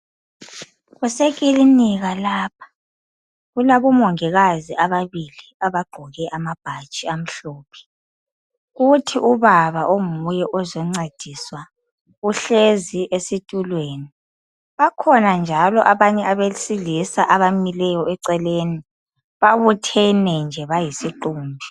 Kusekilinika lapha. Kulabomongikazi ababili abagqoke amabhatshi amhlophe. Kuthi ubaba onguye ozoncediswa uhlezi esitulweni. Bakhona njalo abanye abesilisa abamileyo eceleni, babuthene nje bayisiqumbi